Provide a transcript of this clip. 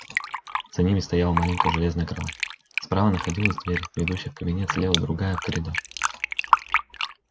за ними стояла маленькая железная кровать справа находилась дверь ведущая в кабинет слева другая в коридор